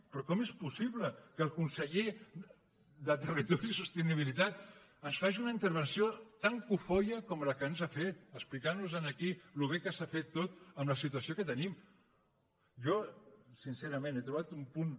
però com és possible que el conseller de territori i sostenibilitat ens faci una intervenció tan cofoia com la que ens ha fet explicantnos aquí com de bé s’ha fet tot amb la situació que tenim jo sincerament he trobat un punt